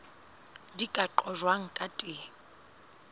di ka qojwang ka teng